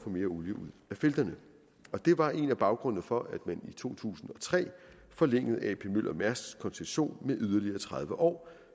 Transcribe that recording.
olie ud af felterne og det var en af baggrundene for at man i to tusind og tre forlængede ap møller mærsk as koncession med yderligere tredive år